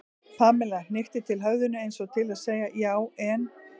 Pamela hnykkti til höfðinu eins og til að segja já, en.